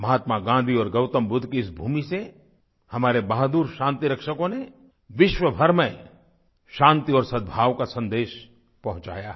महात्मा गाँधी और गौतम बुद्ध की इस भूमि से हमारे बहादुर शांतिरक्षकों ने विश्वभर में शांति और सद्भाव का संदेश पहुँचाया है